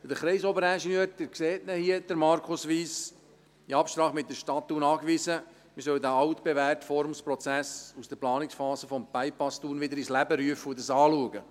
Der Kreisoberingenieur – Sie sehen ihn hier, Markus Wyss – hat in Absprache mit der Stadt Thun angewiesen, man solle den altbewährten Forumsprozess aus der Planungsphase des Bypasses Thun wieder ins Leben rufen und dies anschauen.